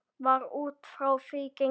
Var út frá því gengið?